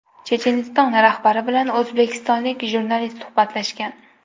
Checheniston rahbari bilan o‘zbekistonlik jurnalist suhbatlashgan.